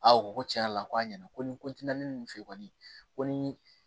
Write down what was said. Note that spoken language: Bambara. A ko ko tiɲɛ yɛrɛ la ko a ɲɛna ko ni ninnu fɛ kɔni ko ni